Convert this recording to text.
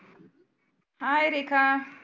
hi Rekha